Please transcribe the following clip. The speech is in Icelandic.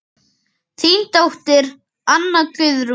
Þín dóttir, Anna Guðrún.